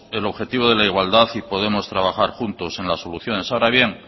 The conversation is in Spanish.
el objetivo de la igualdad y podemos trabajar juntos en las soluciones ahora bien